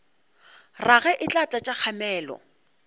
rage e tla tlatša kgamelo